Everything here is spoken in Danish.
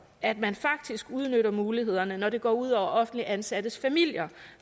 at man faktisk udnytter mulighederne når det går ud over offentligt ansattes familier